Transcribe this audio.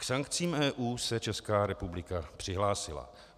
K sankcím EU se Česká republika přihlásila.